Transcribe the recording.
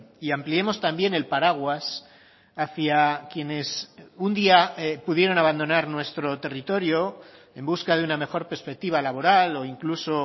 y ampliemos también el paraguas hacia quienes un día pudieron abandonar nuestro territorio en busca de una mejor perspectiva laboral o incluso